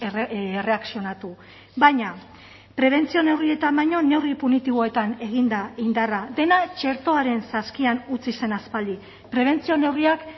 erreakzionatu baina prebentzio neurrietan baino neurri punitiboetan egin da indarra dena txertoaren saskian utzi zen aspaldi prebentzio neurriak